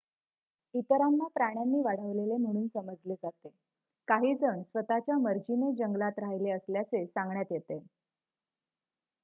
इतरांना प्राण्यांनी वाढवलेले म्हणून समजले जाते; काही जण स्वत:च्या मर्जीने जंगलात राहिले असल्याचे सांगण्यात येते